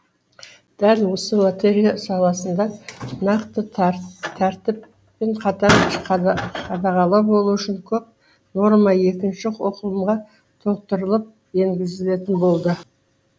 дәл осы лотерея саласында нақты тәртіп пен қатаң қадағалау болуы үшін көп норма екінші оқылымға толықтырылып енгізілетін болды